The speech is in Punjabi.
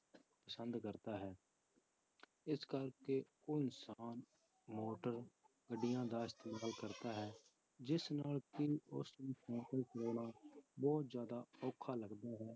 ਪਸੰਦ ਕਰਦਾ ਹੈ ਇਸ ਕਰਕੇ ਉਹ ਇਨਸਾਨ ਮੋਟਰ ਗੱਡੀਆਂ ਦਾ ਇਸਤੇਮਾਲ ਕਰਦਾ ਹੈ ਜਿਸ ਨਾਲ ਕਿ ਉਸਨੂੰ ਸਾਇਕਲ ਚਲਾਉਣਾ ਬਹੁਤ ਜ਼ਿਆਦਾ ਔਖਾ ਲੱਗਦਾ ਹੈ,